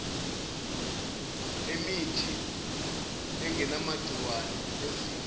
emithi angenamagciwane ezifo